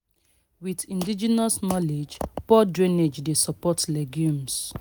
with indigenous knowledge poor drainage dey support legumes